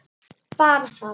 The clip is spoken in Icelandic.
Bara það?